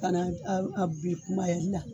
Ka na da bi kumayali la.